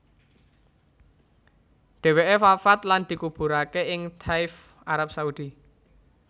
Dheweke wafat lan dikuburake ing Thaif Arab Saudi